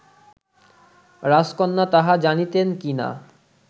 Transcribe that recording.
রাজকন্যা তাহা জানিতেন কি না